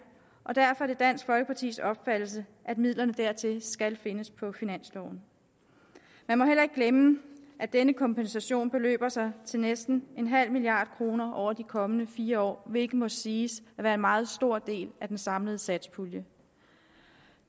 og derfor er det dansk folkepartis opfattelse at midlerne dertil skal findes på finansloven man må heller ikke glemme at denne kompensation beløber sig til næsten en halv milliard kroner over de kommende fire år hvilket må siges at være en meget stor del af den samlede satspulje